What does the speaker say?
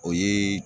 O ye